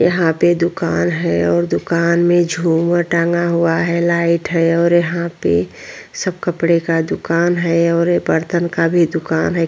यहाँ पे दुकान है और दुकान मे झूमर टांगा हुआ है लाइट है और यहाँ पे सब कपडे का दुकान है और ये बरतन का भी दूकान है।